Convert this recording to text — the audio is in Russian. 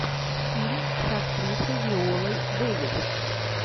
фильм с актрисой виолой дэвис